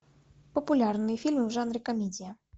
популярные фильмы в жанре комедия